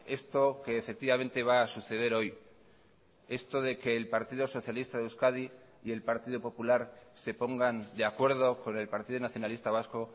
esto que efectivamente va a suceder hoy esto de que el partido socialista de euskadi y el partido popular se pongan de acuerdo con el partido nacionalista vasco